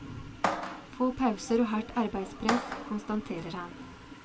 Få pauser og hardt arbeidspress, konstaterer han.